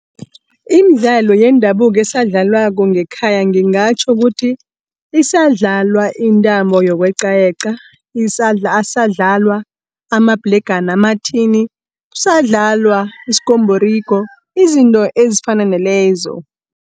Imidlalo yendabuko esadlalwako ngekhaya, ngingatjho ukuthi isadlalwa intambo yokweqayeqa. Asadlalwa amabhlegana amathini, kusadlalwa iskombhorigo izinto ezifana nalezo.